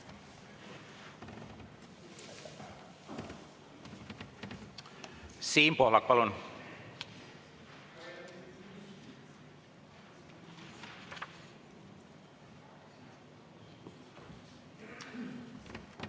Siim Pohlak, palun!